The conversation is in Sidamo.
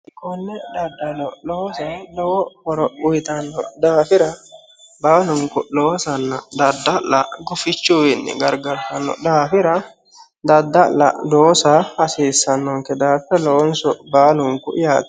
Konne daddalo loosa lowo horo uyitanno daafira baalunikku loosanna dadda'la gufichuyiwiinni garigaritanno daafira dadda'la loosa hasiisannonike daafira looniso baalunikku yaate